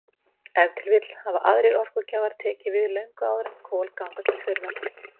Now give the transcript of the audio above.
Ef til vill hafa aðrir orkugjafar tekið við löngu áður en kol ganga til þurrðar.